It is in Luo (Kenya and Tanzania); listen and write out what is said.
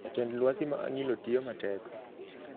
Jatend lwasi ma Angilo tiyo matek